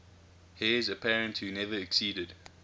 heirs apparent who never acceded